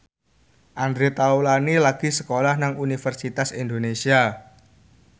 Andre Taulany lagi sekolah nang Universitas Indonesia